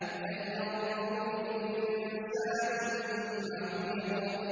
فَلْيَنظُرِ الْإِنسَانُ مِمَّ خُلِقَ